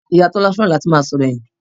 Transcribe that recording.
Ìyá Tọ́lá fẹ́ràn láti máa sọ̀rọ̀ ẹ̀yìn